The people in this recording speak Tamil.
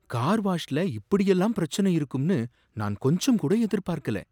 கார் வாஷ்ல இப்படியெல்லாம் பிரச்சனை இருக்கும்னு நான் கொஞ்சம்கூட எதிர்பார்க்கல.